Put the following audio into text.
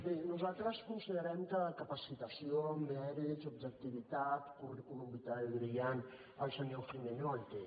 bé nosaltres considerem que capacitació mèrits objectivitat curriculum vitae brillant el senyor gimeno els té